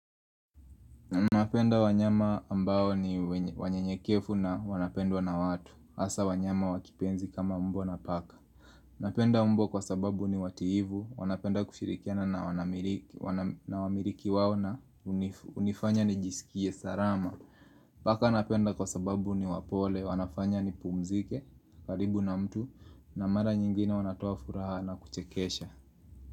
Napenda wanyama ambao ni wanyenyekefu na wanapendwa na watu Asa wanyama wakipenzi kama mbwa na paka Napenda mbwa kwa sababu ni wativu wanapenda kushirikiana na wanamiriki wao na unifanya ni jisikie salama Paka napenda kwa sababu ni wapole wanafanya ni pumzike, karibu na mtu na mara nyingine wanatoa furaha na kuchekesha.